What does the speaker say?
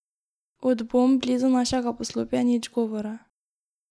Od bomb blizu našega poslopja nič govora.